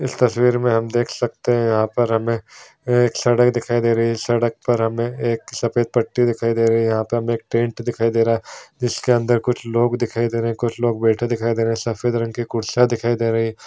इस तस्वीर में हम देख सकते है यहाँ पर हमें एक सड़क दिखाई दे रही है सड़क पर हमें एक सफ़ेद पट्टी दिखाई दे रही है यहाँ पे एक टेंट दिखाई दे रहा है जिसके अंदर कुछ लोग दिखाई दे रहे हैं कुछ लोग बैठे दिखाई दे रहे हैं सफ़ेद रंग की कुर्सियाँ दिखाई दे रही है।